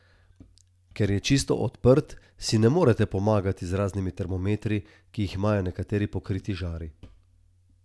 Ker je čisto odprt, si ne morete pomagati z raznimi termometri, ki jih imajo nekateri pokriti žari.